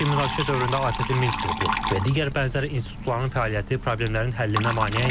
Lakin münaqişə dövründə ATƏT-in Minsk qrupu və digər bənzər institutların fəaliyyəti problemlərin həllinə maneə idi.